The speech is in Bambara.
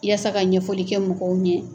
I yaasa ka ɲɛfɔli kɛ mɔgɔw ɲɛ